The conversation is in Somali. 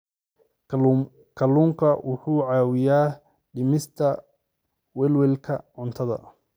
Kalluunku wuxuu caawiyaa dhimista welwelka cuntada.